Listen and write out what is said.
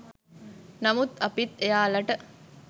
නමුත් අපිත් එයාලට